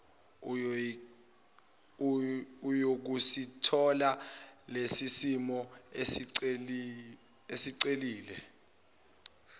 uyokusithola lesosimo osicelile